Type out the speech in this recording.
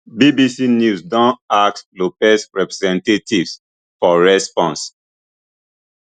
bbc news don ask lopez representatives for response